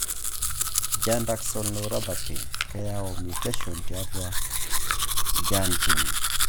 Giant axonal neuropathy keyau mutations tiatua GAN gene.